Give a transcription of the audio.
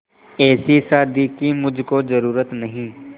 ऐसी शादी की मुझको जरूरत नहीं